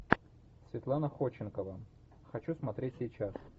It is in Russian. светлана ходченкова хочу смотреть сейчас